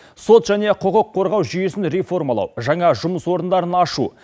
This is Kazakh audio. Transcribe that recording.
сот және құқық қорғау жүйесін реформалау жаңа жұмыс орындарын ашу